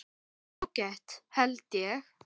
Ágætt held ég.